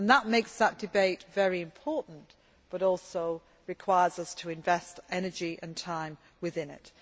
That makes that debate very important, but also requires us to invest energy and time within it.